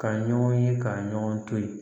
Ka ɲɔgɔn ye ka ɲɔgɔn to ye